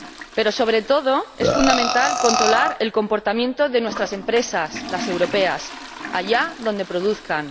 Pero, sobre todo, es fundamental controlar el comportamiento de nuestras empresas, las europeas, allá donde produzcan.